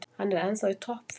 Hann er ennþá í topp formi.